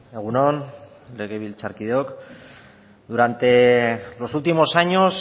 egun on legebiltzarkideok durante los últimos años